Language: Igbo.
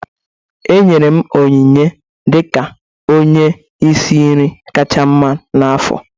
E nyere m onyinye dị ka onye isi nri kacha mma n'afọ